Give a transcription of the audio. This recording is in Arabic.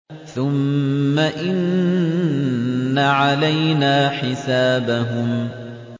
ثُمَّ إِنَّ عَلَيْنَا حِسَابَهُم